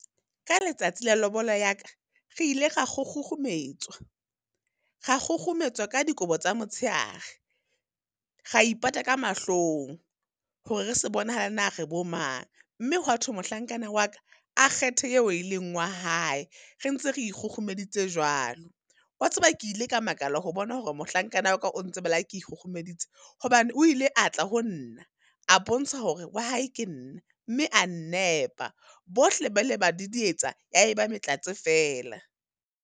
Ka letsatsi la lobola ya ka, re ile ra kgukgukgumetswa, ra kgukgumetswa ka dikobo tsa motshehare, ra ipata ka mahlong hore re se bonahale hore na re bo mang. Mme hwa thwe mohlankana wa ka, a kgethe eo e leng wa hae, re ntse re ikgokgomeditse jwalo. Wa tseba ke ile ka makala ho bona hore mohlankana wa ka o ntseba le ha ke ikgukgumeditse. Hobane o ile a tla ho nna, a bontsha hore wa hae ke nna, mme a nnepa. Bohle ba ile ba didietsa ya e ba matlatse fela.